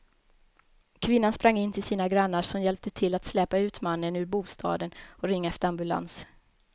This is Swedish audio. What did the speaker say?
Kvinnan sprang in till sina grannar som hjälpte till att släpa ut mannen ur bostaden och ringa efter ambulans.